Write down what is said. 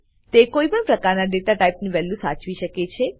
તે કોઈ પણ પ્રકારના ડેટા ટાઈપ ની વેલ્યુ સાચવી શકે છે